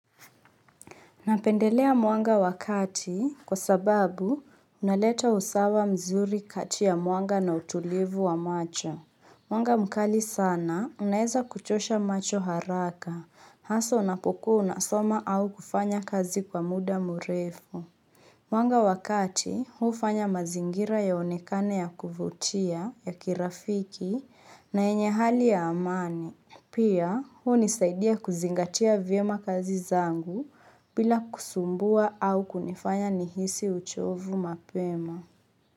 Napendelea mwanga wa kati kwa sababu unaleta usawa mzuri kati ya mwanga na utulivu wa macho. Mwanga mkali sana unaweza kuchosha macho haraka, haswa unapokuwa unasoma au kufanya kazi kwa muda mrefu. Mwanga wa kati hufanya mazingira yaonekane ya kuvutia ya kirafiki na yenye hali ya amani. Pia, huo hunisaidia kuzingatia vyema kazi zangu bila kusumbua au kunifanya nihisi uchovu mapema.